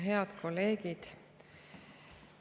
Head kolleegid!